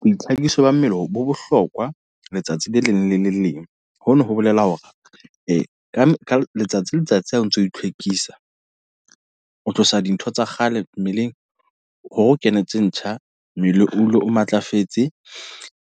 Boitlhakiso ba mmele bo bohlokwa, letsatsi le leng le le leng. Hono ho bolela hore, ka ka letsatsi le letsatsi ha o ntso itlhwekisa. O tlosa dintho tsa kgale mmeleng, hore o kenetse ntjha mmele o dule o matlafetse.